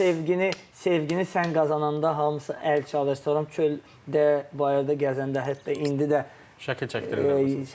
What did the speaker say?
Sevgini, sevgini sən qazananda hamısı əl çalır, sonra çöldə, bayırda gəzəndə, hətta indi də şəkil çəkdirirlər.